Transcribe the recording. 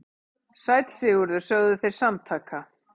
Sæll Sigurður, sögðu þeir samtaka.